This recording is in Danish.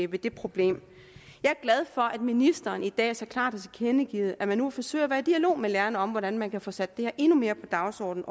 ved det problem jeg er glad for at ministeren i dag så klart har tilkendegivet at man nu vil forsøge at være i dialog med lærerne om hvordan man kan få sat det her endnu mere på dagsordenen